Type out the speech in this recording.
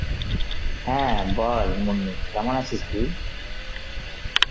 হ্যাঁ বল মুন্নি, কেমন আছিস তুই?